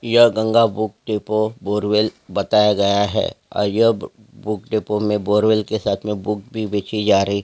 यह Ganga book depot borewell बताया गया है अ यह बुक डिपो में बोरवल के साथ में बुक भी बेचीं जा रही --